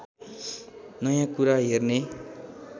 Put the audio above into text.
नयाँ कुरा हेर्ने